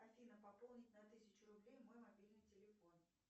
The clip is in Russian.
афина пополнить на тысячу рублей мой мобильный телефон